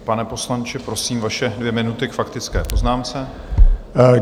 Pane poslanče, prosím, vaše dvě minuty k faktické poznámce.